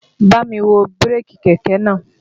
Bámi wo bírèkì kẹ̀kẹ́ náà!